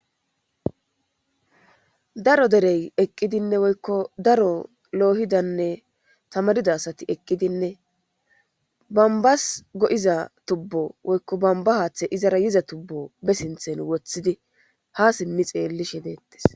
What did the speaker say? daro derey eqqidinne woykko daro loohidanne tamarida asati eqqidinne bambas go7iza tubbo woykko bamba haaththe izara yiza tubbo be sinthen woththidi ha simmi xeellishe deettes